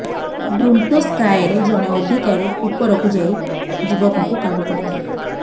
Bronto ସ୍କାଏରେ ଜଣେ ଅଧିକାରୀ ଉପରକୁ ଯାଇ ଯୁବକଙ୍କୁ କାବୁ କରିଥିଲେ